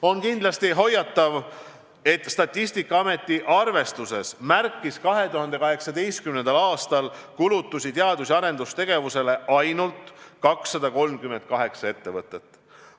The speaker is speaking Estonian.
On kindlasti hoiatav, et Statistikaameti arvestuses märkis 2018. aastal kulutusi teadus- ja arendustegevusele ainult 238 ettevõtet.